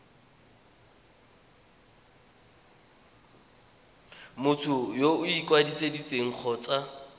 motho yo o ikwadisitseng kgotsa